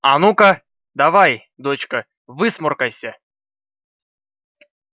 а ну-ка давай дочка высморкайся